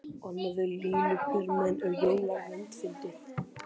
Annað eins lipurmenni og Jón er vandfundið.